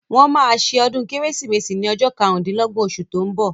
Wọ́n máa se ọdún kérésìmesì ní ọjọ́ karùndínlọ́gbọ̀n osù tó ń bọ̀